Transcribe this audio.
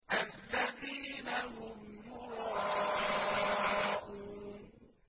الَّذِينَ هُمْ يُرَاءُونَ